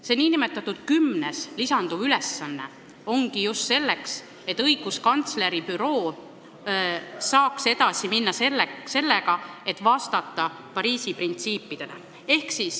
See nn kümnendana lisanduv ülesanne ongi just selleks, et õiguskantsleri büroo saaks edasi minna sellega, et vastata Pariisi printsiipidele.